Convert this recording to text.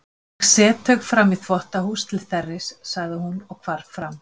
Ég set þau framí þvottahús til þerris, sagði hún og hvarf fram.